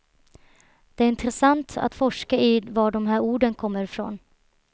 Det är intressant att forska i var de här orden kommer ifrån.